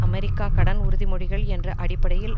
America கடன் உறுதி மொழிகள் என்ற அடிப்படையில்